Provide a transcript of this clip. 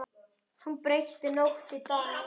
Hún breytti nótt í dag.